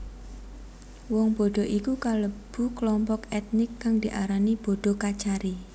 Wong Bodo iku kalebu klompok ètnik kang diarani Bodo Kachari